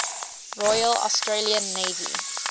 royal australian navy